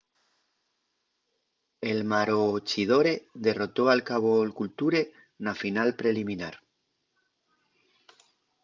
el maroochydore derrotó al caboolture na final preliminar